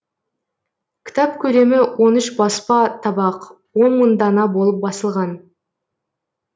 кітап көлемі он үш баспа табақ он мың дана болып басылған